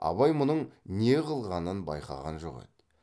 абай мұның не қылғанын байқаған жоқ еді